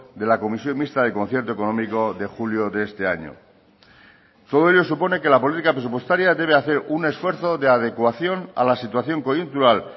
de la comisión mixta de concierto económico de julio de este año todo ello supone que la política presupuestaria debe hacer un esfuerzo de adecuación a la situación coyuntural